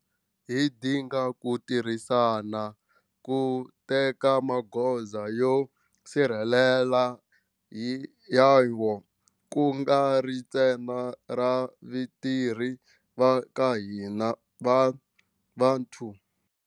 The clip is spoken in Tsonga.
Hi dinga ku tirhisana ku teka magoza yo sirhelela hi hayo ku nga ri ntsena ra vatirhi va ka hina va vuthu.